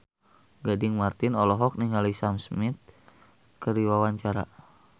Gading Marten olohok ningali Sam Smith keur diwawancara